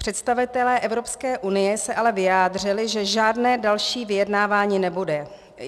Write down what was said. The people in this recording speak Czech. Představitelé Evropské unie se ale vyjádřili, že žádné další vyjednávání nebude.